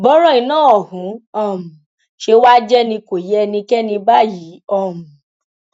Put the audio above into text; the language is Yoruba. bọrọ iná ọhún um ṣe wàá jẹ ni kò yé ẹnikẹni báyìí um